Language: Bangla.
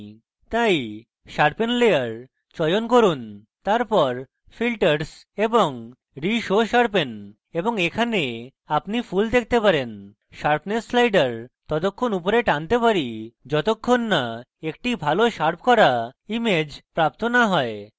তাই sharpen layer চয়ন করুন তারপর filters এবং reshow sharpen এবং এখানে আপনি pull দেখতে পারেন এবং sharpness slider ততক্ষণ উপরে টানতে পারি যতক্ষণ so একটি ভালো শার্প re image প্রাপ্ত so হয়